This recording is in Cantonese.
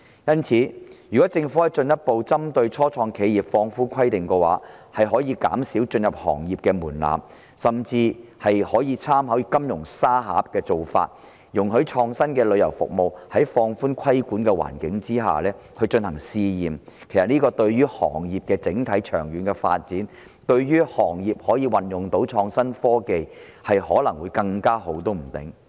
因此，如果政府可以進一步針對初創企業放寬規定，降低進入行業的門檻，甚至參考"金融沙盒"的做法，容許創新的旅遊服務在放寬規管的環境下進行試驗，對於行業整體長遠的發展及運用創新科技方面，可能會更好。